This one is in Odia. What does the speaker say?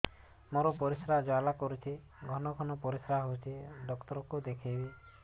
ମୋର ପରିଶ୍ରା ଜ୍ୱାଳା କରୁଛି ଘନ ଘନ ପରିଶ୍ରା ହେଉଛି ଡକ୍ଟର କୁ ଦେଖାଇବି